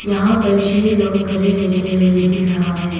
यहां पर छे लोग खड़े होते हुए दिख रहा है।